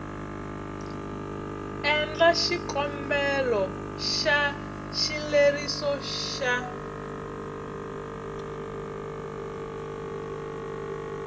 endla xikombelo xa xileriso xa